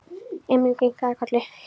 Emil kinkaði kolli.